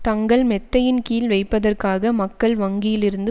தங்கள் மெத்தையின் கீழ் வைப்பதற்காக மக்கள் வங்கியில் இருந்து